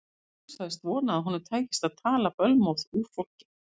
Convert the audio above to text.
Jón sagðist vona að honum tækist að tala bölmóð úr fólki.